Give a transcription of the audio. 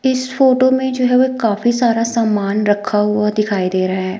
इस फोटो में जो है वो एक काफी सारा सामान रखा हुआ दिखाई दे रहा है।